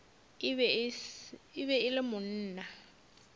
e be e le monna